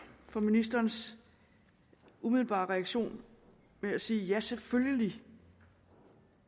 for ministerens umiddelbare reaktion med at sige ja selvfølgelig